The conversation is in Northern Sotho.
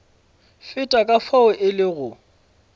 feta ka fao e lego